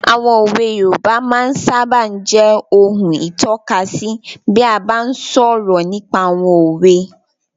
Àwọn òwe yoòbá máa sábà n jẹ́ ohun ìtọ́kasí bí a bá n sọ̀rọ̀ nípa àwọn òwe